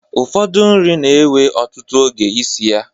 Ụfọdụ nri n'ewe ọtụtụ oge isi ya